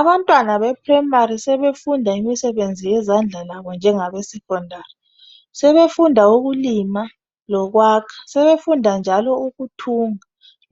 Abantwana be primary sebefunda imisebenzi yezandla labo njengabe secondary. Sebefunda ukulima lokwakha ,sebefunda njalo ukuthunga